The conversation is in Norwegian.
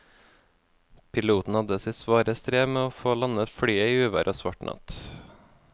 Piloten hadde sitt svare strev med å få landet flyet i uvær og svart natt.